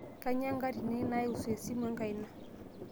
kainyoo enkatini naiusu esimu enkaina